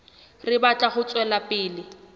re batla ho tswela pele